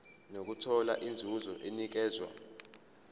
nokuthola inzuzo enikezwa